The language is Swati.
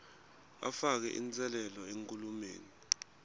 afake inselele enkhulumeni